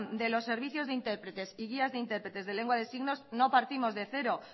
de los servicios de intérpretes y guías de interpretes de lengua de signos no partimos de cero